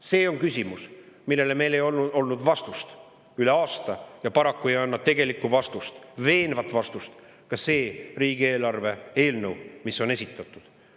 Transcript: See on küsimus, millele ei olnud meil vastust üle aasta ja paraku ei anna tegelikku vastust, veenvat vastust ka see riigieelarve eelnõu, mis on esitatud.